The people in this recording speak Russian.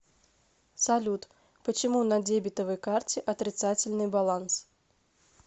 салют почему на дебетовой карте отрицательный баланс